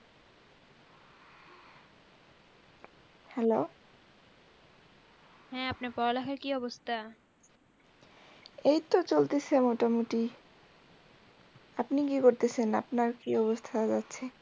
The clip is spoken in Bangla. হ্যালো হ্যাঁ আপনার পড়ালেখার কি অবস্থা? এই তো চলতেসে মোটামুটি। আপনি কি করতেসেন, আপনার কি অবস্থা?